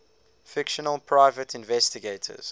fictional private investigators